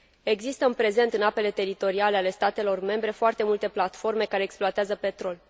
Există în prezent, în apele teritoriale ale statelor membre, foarte multe platforme care exploatează petrol.